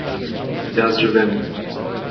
Jaz že vem.